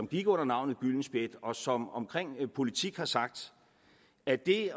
gik under navnet gyldenspjæt og som om politik har sagt at det